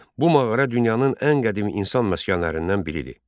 Bu mağara dünyanın ən qədim insan məskənlərindən biridir.